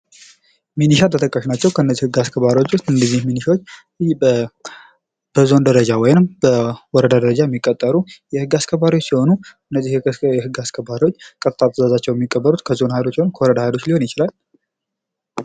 ሚኒሻ ተጠቃሽ ናቸዉ። እንደዚህ ህግ አስከባሪ ሚኒሻዎች በዞን ደረጃ ይሁን በወረዳ ደረጃ የሚቀጠሩ ህግ አስከባሪዎች ሲሆኑ ትዛዛቸዉ የሚቀበሉት ከዞን ወይም ከወረዳ ኃይሎች ሊሆን ይችላ።